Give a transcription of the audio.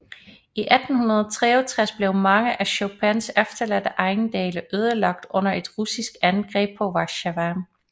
I 1863 blev mange af Chopins efterladte ejendele ødelagt under et russisk angreb på Warszawa